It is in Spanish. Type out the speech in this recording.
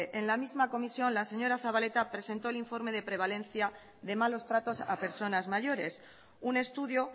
en la misma comisión la señora zabaleta presentó el informe de prevalencia de malos tratos a personas mayores un estudio